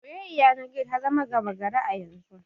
Soyayyar yanar gizo ta zama gama gari yanzu.